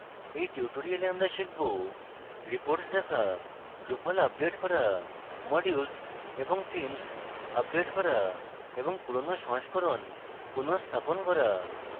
in tutorial আমরা শিখব: reports দেখা drupal আপডেট করা modules এবং themes আপডেট করা এবং পুরোনো সংস্করণ পুনঃস্থাপন করা